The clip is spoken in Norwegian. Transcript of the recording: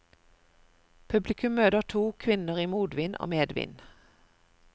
Publikum møter to kvinner i motvind og medvind.